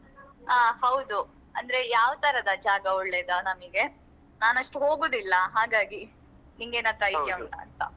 ಹ ಹೌದು ಅಂದ್ರೆ ಯಾವ್ ತರದ ಜಾಗ ಒಳ್ಳೇದಾ ನಮಿಗೆ ನಾನ್ ಅಷ್ಟು ಹೋಗುದಿಲ್ಲ ಹಾಗಾಗಿ ನಿಂಗೇನಂತ idea ಉಂಟಾ ಅಂತ.